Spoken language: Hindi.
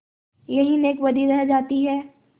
यही नेकबदी रह जाती है